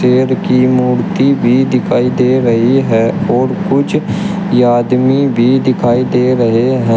शेर की मूर्ति भी दिखाई दे रही है और कुछ आदमी भी दिखाई दे रहे हैं।